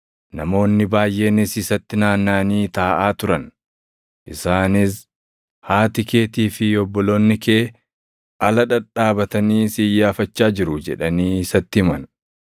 Namoonni baayʼeenis isatti naannaʼanii taaʼaa turan; isaanis, “Haati keetii fi obboloonni kee ala dhadhaabatanii si iyyaafachaa jiru” jedhanii isatti himan.